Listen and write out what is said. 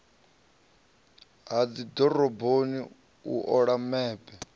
ha dzidoroboni u ola mepe